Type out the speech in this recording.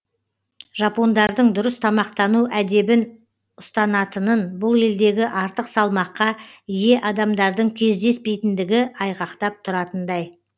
жапондардың дұрыс тамақтану әдебін ұстанатынын бұл елдегі артық салмаққа ие адамдардың кездеспейтіндігі айғақтап тұратындай